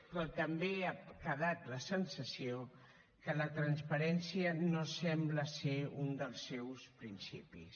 però també ha quedat la sensació que la transparència no sembla ser un dels seus principis